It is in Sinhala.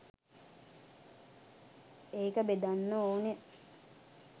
ඒක බෙදන්න ඕන.